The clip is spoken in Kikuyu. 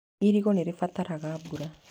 Irigũ nĩ rĩ bataraga mbura.